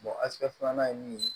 ɛsike filanan ye mun ye